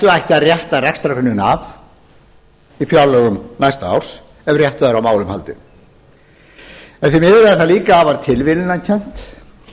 ætti að rétta rekstrargrunninn af í fjárlögum næsta árs ef rétt væri á málum haldið en því miður er það líka afar tilviljanakennt